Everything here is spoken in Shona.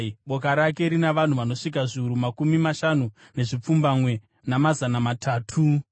Boka rake rina vanhu vanosvika zviuru makumi mashanu nezvipfumbamwe, namazana matatu.